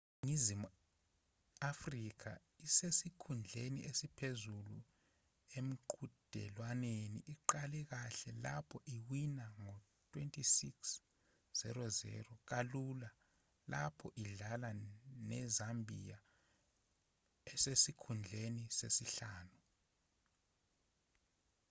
iningizimu afrika esesikhundleni esiphezulu emqhudelwaneni iqale kahle lapho iwina ngo-26 -00 kalula lapho idlala nezambia esesikhundleni sesihlanu